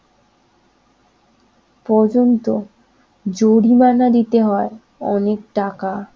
পর্যন্ত জরিমানা দিতে হয় অনেকটাকা